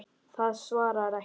Það svarar ekki.